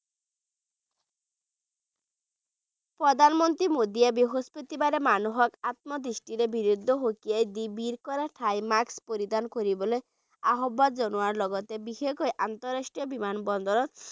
প্ৰধান মন্ত্ৰী মোদীয়ে বৃস্পতিবাৰে মানুহক আত্মদৃষ্টিয়ে সকীয়াই দি ভিৰ কৰা ঠাইত মাস্ক পৰিধান কৰিবলৈ আহ্বান জনোৱা লগতে বিশেষকৈ আন্তঃৰাষ্ট্ৰীয় বিমান বন্দৰত